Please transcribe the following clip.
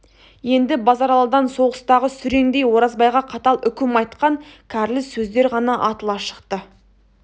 енді базаралыдан соғыстағы сүреңдей оразбайға қатал үкім айтқан кәрлі сөздер ғана атыла шықты